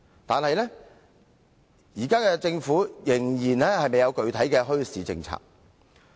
然而，現時政府仍然未有具體的墟市政策。